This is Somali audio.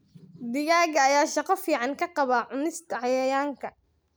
Digaagga ayaa shaqo fiican ka qaba cunista cayayaanka.